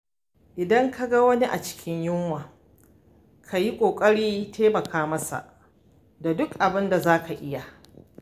Idan ka ga wani a cikin yunwa, ka yi ƙoƙarin taimaka masa da duk abinda za ka iya.